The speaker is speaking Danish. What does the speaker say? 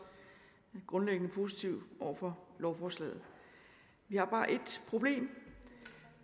grundlæggende positive over for lovforslaget vi har bare ét problem